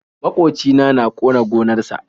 maƙocina. na ƙona gonar sa.